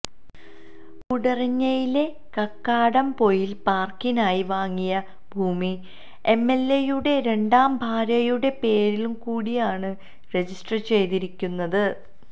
കൂടരഞ്ഞിയിലെ കക്കാടംപൊയില് പാര്ക്കിനായി വാങ്ങിയ ഭൂമി എംഎല്എയുടെ രണ്ടാം ഭാര്യയുടെ പേരിള്ക്കൂടിയാണ് രജിസ്റ്റര് ചെയ്തിരിക്കുന്നത്